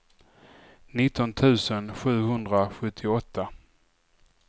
nitton tusen sjuhundrasjuttioåtta